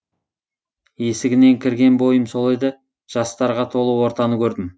есігінен кірген бойым сол еді жастарға толы ортаны көрдім